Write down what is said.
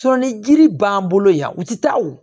ni jiri b'an bolo yan u tɛ taa o